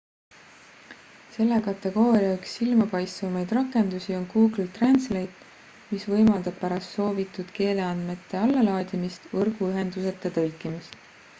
selle kategooria üks silmapaistvamaid rakendusi on google translate mis võimaldab pärast soovitud keeleandmete allalaadimist võrguühenduseta tõlkimist